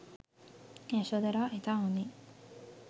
යශෝදරා ඉතා හොදින්